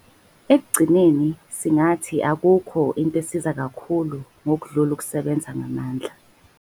Ekugcineni singathi akukho into esiza kakhulu ngodlula umsebenzi ngamandla.